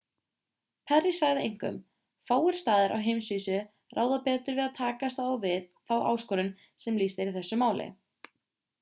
perry sagði einkum fáir staðir á heimsvísu ráða betur við að takast á við þá áskorun sem lýst er í þessu máli